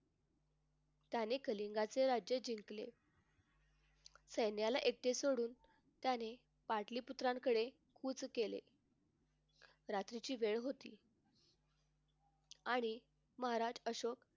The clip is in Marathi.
त्याने कलिंगचे राज्य जिंकले. सैन्याला एकटे सोडून त्याने पाटली पुत्रांकडे कूच केले रात्रीची वेळ होती आणि महाराज अशोक